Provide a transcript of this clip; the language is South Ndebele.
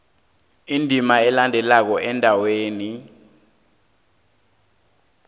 indima elandelako endaweni